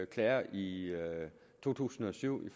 klager i to tusind og syv